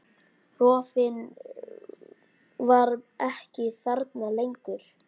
Rofinn var ekki þarna lengur.